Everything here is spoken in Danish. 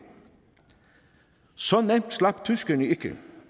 så nemt slap tyskerne ikke